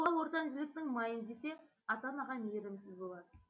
бала ортан жіліктің майын жесе ата анаға мейірімсіз болады